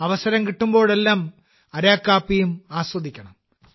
അവസരം കിട്ടുമ്പോഴെല്ലാം അരക്കു കാപ്പിയും ആസ്വദിക്കണം